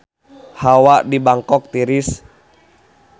Hawa di Bangkok tiris